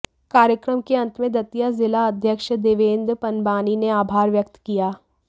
कार्यक्रम के अंत में दतिया जिला अध्यक्ष देवेन्द्र पंबानी ने आभार व्यक्त किया